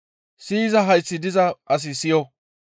Siyiza hayththi diza asi siyo!